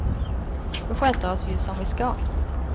Vi sköter oss ju som vi ska.